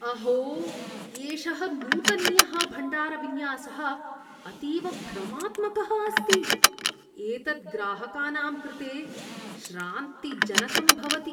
अहो! एषः नूतनीयः भण्डारविन्यासः अतीव भ्रमात्मकः अस्ति। एतत् ग्राहकानां कृते श्रान्तिजनकं भवति।